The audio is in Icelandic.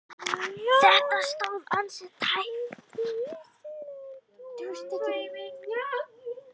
Þetta stóð ansi tæpt.